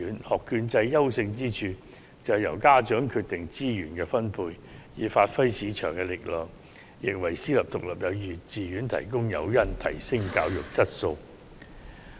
學券制的優勝之處，是由家長決定資源分配，以發揮市場力量，亦為私立獨立幼稚園提供提升教育質素的誘因。